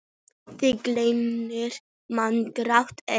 Því gamlir menn gráta enn.